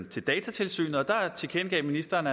til datatilsynet og der tilkendegav ministeren